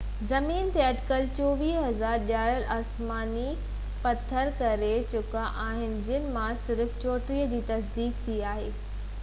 زمين تي اٽڪل 24،000 ڄاتل آسماني پٿر ڪري چڪا آهن جن مان صرف 34 جي تصديق ٿي آهي تہ اهي اصلي مريخ جا آهن